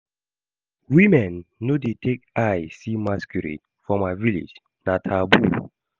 Women no dey take eye see masquerade for my village, na taboo